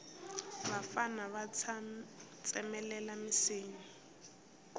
vafana va tsemelela minsinya